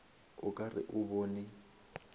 o ka re o bone